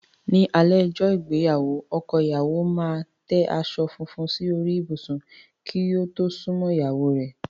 Ní alé ọjọ́ ìgbéyàwó, ọkọ ìyáwo máa tẹ aṣọ fúnfún sí orí ìbùsù kí ó tó súnmọ́ ìyáwó rẹ̀.